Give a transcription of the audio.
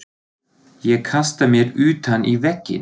Ég kasta mér utan í vegginn.